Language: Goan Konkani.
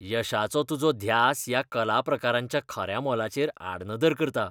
यशाचो तुजो ध्यास ह्या कला प्रकारांच्या खऱ्या मोलाचेर आडनदर करता.